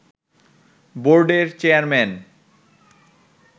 বোর্ডের চেয়ারম্যান